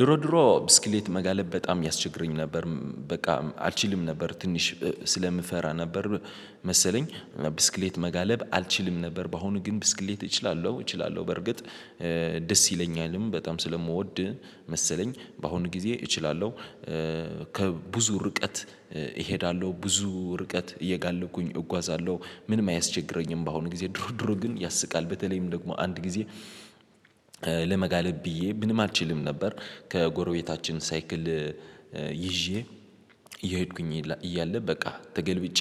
ድሮ ድሮ ብስክሌት መጋለብ በጣም ያስቸግረኝ ነበር በቃ አልችልም ነበር ትንሽ ስለምፈራ ነበር። መሰለኝ ብስክሌት መጋለብ አልችልም ነበር። በአሁኑ ግን ብስክሌት እችላለሁ እችላለሁ በርግጥ ደስ ይለኛልም በጣም ስለምወድ መሰለኝ በአሁኑ ጊዜ እችላለሁ። ከብዙ ርቀት እሄዳለሁ ብዙ ርቀት እየጋለብኩኝ እጓዛለሁ ምንም አያስቸግረኝም። በአሁኑ ጊዜ ድሮ ድሮ ግን ያስቃል በተለይም ደግሞ አንድ ጊዜ ለመጋለብ ብዬ ምንም አልችልም ነበር። ከጎረቤታችን ሳይክል ይዤ እየሄድኩኝ እያለ በቃ ተገልብጬ